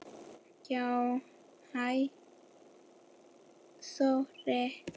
Já, hæ Sóri.